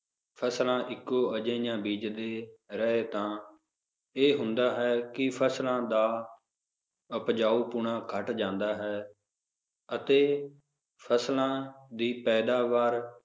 ਫਸਲਾਂ ਇੱਕੋ ਜਹੀਆਂ ਬੀਜਦੇ ਰਹੇ ਤਾਂ, ਇਹ ਹੁੰਦਾ ਹੈ ਕਿ ਫਸਲਾਂ ਦਾ ਉਪਜਾਊਪੁਣ ਘਟ ਜਾਂਦਾ ਹੈ ਅਤੇ ਫਸਲਾਂ ਦੀ ਪੈਦਾਵਾਰ